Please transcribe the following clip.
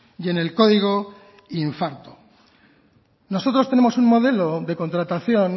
y en el código infarto nosotros tenemos un modelo de contratación